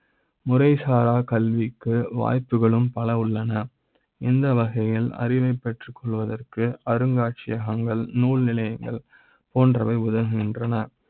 முறை சாரா கல்வி க்கு வாய்ப்புகளும் பல உள்ளன இந்த வகையில் அறிவை ப் பெற்றுக்கொள்வதற்கு அருங்காட்சியக ங்கள், நூல்நிலையங்கள் போன்றவை உதவுகின்றன.